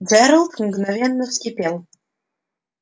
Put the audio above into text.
джералд мгновенно вскипел